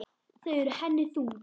Þau eru henni þung.